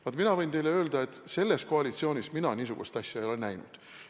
Vaat mina võin teile öelda, et selles koalitsioonis mina niisugust asja ei ole näinud.